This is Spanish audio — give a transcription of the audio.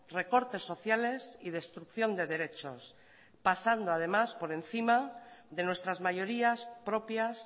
recortes sociales y destrucción de derechos pasando además por encima de nuestras mayorías propias